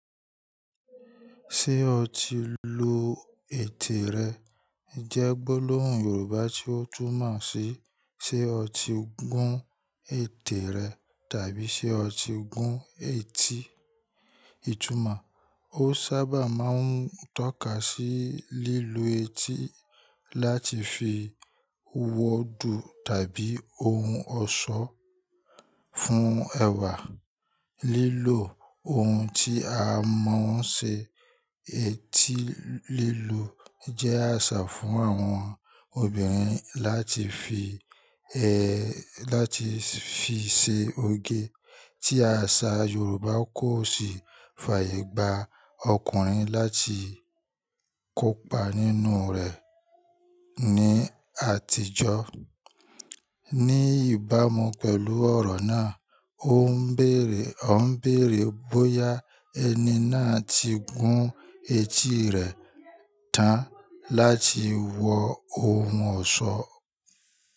Ṣé o ti lo ètè rẹ jẹ́ gbólóhùn Yorùbá tí ó túnmọ̀ sí ṣe ó ti gún ètè rẹ tàbí ṣe ó ti gún etí. Itumo, o sa ba maa n toka si lilu eti lati fi owo du tabi ohun oso fun ewa. Lílo ohun tí a mọ̀ọ́ ń ṣe etí lílu jẹ́ àṣà fún àwọn obìnrin láti fi ẹ́, láti fi ṣe oge, tí àṣà Yorùbá kò sì fàyègba ọkùnrin láti kópa nínú rẹ̀ ní àtijọ́. Ní ìbámu pẹ̀lú ọ̀rọ̀ náà, ó ń bèèrè, ó ń bèèrè bóyá ẹni náà ti gún etí rẹ̀ tán láti wọ ohun ọ̀ṣọ́.